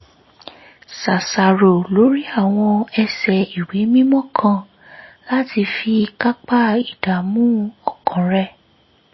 ṣàṣàrò lórí àwọn ẹsẹ ìwé mímọ́ kan láti fi kápá ìdààmú ọkàn rẹ̀